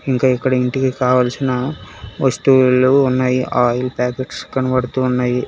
ఇంకా ఇక్కడ ఇంటికి కావాల్సిన వస్తువులు ఉన్నాయి ఆయిల్ ప్యాకెట్స్ కనబడుతున్నాయి.